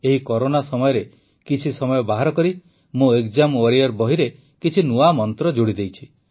ଏହି କରୋନା ସମୟରେ କିଛି ସମୟ ବାହାର କରି ମୁଁ ଏକ୍ଜାମ୍ ୱାରିୟର ବହିରେ କିଛି ନୂଆ ମନ୍ତ୍ର ଯୋଡ଼ି ଦେଇଛି